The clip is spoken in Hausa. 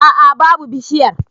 A'a babu bishiyar.